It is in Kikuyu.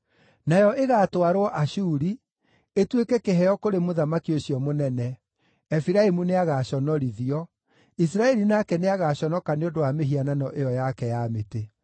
Nayo ĩgaatwarwo Ashuri, ĩtuĩke kĩheo kũrĩ mũthamaki ũcio mũnene. Efiraimu nĩagaconorithio; Isiraeli nake nĩagaconoka nĩ ũndũ wa mĩhianano ĩyo yake ya mĩtĩ.